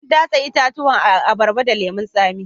An datse itatuwan abarba da lemun tsamin